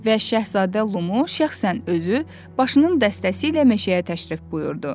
Və Şahzadə Lumu şəxsən özü başının dəstəsi ilə meşəyə təşrif buyurdu.